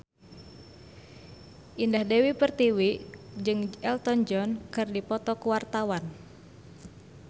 Indah Dewi Pertiwi jeung Elton John keur dipoto ku wartawan